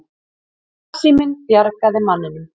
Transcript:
Farsíminn bjargaði manninum